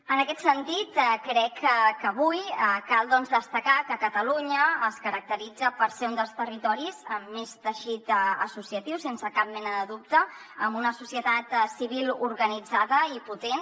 en aquest sentit crec que avui cal doncs destacar que catalunya es caracteritza per ser un dels territoris amb més teixit associatiu sense cap mena de dubte amb una societat civil organitzada i potent